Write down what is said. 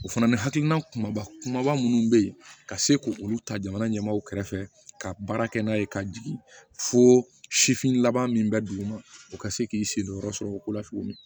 O fana ni hakilina kumaba kumaba minnu bɛ yen ka se k'olu ta jamana ɲɛmaaw kɛrɛfɛ ka baara kɛ n'a ye ka jigin fo sifin laban min bɛ duguma o ka se k'i sen don yɔrɔ sɔrɔ o ko la tuguni